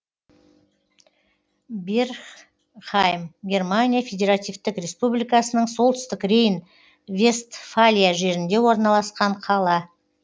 бергхайм германия федеративтік республикасының солтүстік рейн вестфалия жерінде орналасқан қала